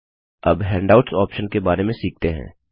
अब handouts option के बारे में सीखते हैं